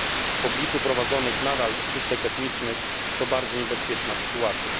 W obliczu prowadzonych nadal czystek etnicznych to bardzo niebezpieczna sytuacja.